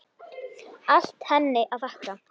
Allt henni að þakka.